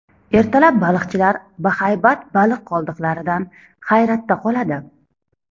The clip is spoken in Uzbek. Ertalab baliqchilar bahaybat baliq qoldiqlaridan hayratda qoladi.